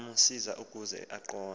namasi ukaze aqonde